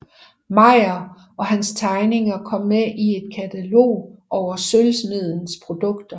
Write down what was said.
Meyer og hans tegninger kom med i et katalog over sølvsmediens produkter